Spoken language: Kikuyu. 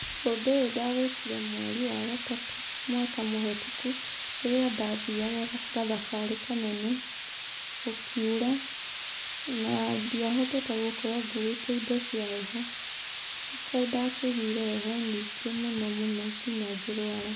Ũndũ ũyũ ndawĩkire mweri wa gatatũ mwaka mũhĩtũku, rĩrĩa ndathiaga gathabarĩ kanene, gũkiura na ndiahotete gũkorwo nguĩte indo cia heho. Rĩu kaĩ ndakĩiguire heho nyingĩ mũno mũno nginya ngĩ rũara.